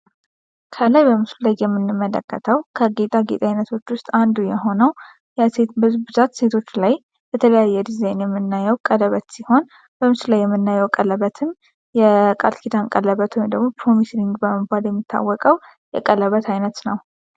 ከላይ በምስሉ ላይ የምንመለከተው ከጌጣጌጥ አይነቶች ዉስጥ አንዱ የሆነው በብዛት ሴቶች ላይ በተለያየ ዲዛይን የምናየው ቀለበት ሲሆን፤ በምስሉ ላይ የምናየው ቀለበትም የቃልኪዳን ቀለበት ወይም ደግሞ ፕሮሚስ ሪንግ በመባል የሚታወቀው የቀለበት አይነት ነው።